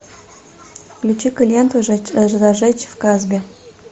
включи ка ленту зажечь в касбе